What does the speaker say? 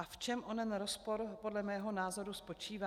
A v čem onen rozpor podle mého názoru spočívá?